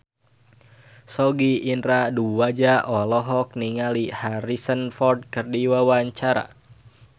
Sogi Indra Duaja olohok ningali Harrison Ford keur diwawancara